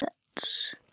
Hversu stórt?